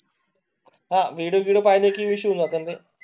हा विडिओ पाहिजे विषय बदल जाताना.